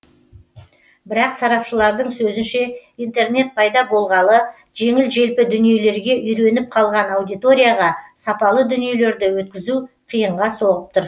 бірақ сарапшылардың сөзінше интернет пайда болғалы жеңіл желпі дүниелерге үйреніп қалған аудиторияға сапалы дүниелерді өткізу қиын соғып тұр